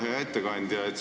Hea ettekandja!